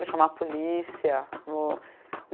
Vou chamar a polícia? Vou